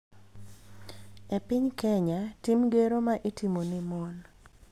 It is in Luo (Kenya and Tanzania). E piny Kenya, tim gero ma itimo ne mon�